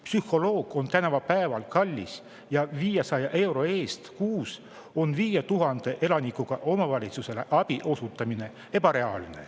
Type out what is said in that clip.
Psühholoog on tänavapäeval kallis ja on ebareaalne, et omavalitsus osutab 500 euro eest kuus 5000 elanikule abi.